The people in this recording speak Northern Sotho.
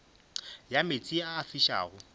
ya meetse a a fišago